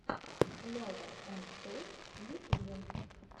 лева энд тойс в ютубе